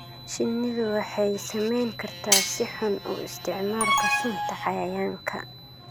Shinnidu waxay saameyn kartaa si xun u isticmaalka sunta cayayaanka.